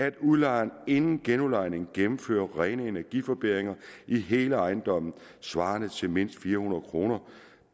at udlejeren inden genudlejningen gennemfører rene energiforbedringer i hele ejendommen svarende til mindst fire hundrede kroner